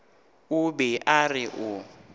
o be a re o